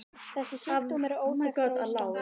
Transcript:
Þessi sjúkdómur er óþekktur á Íslandi.